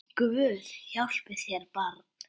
Guð hjálpi þér barn!